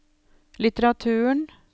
litteraturen